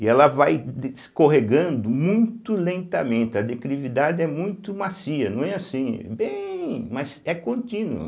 e ela vai de escorregando muito lentamente, a declividade é muito macia, não é assim, bem, mas é contínuo.